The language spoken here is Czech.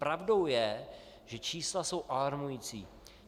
Pravdou je, že čísla jsou alarmující.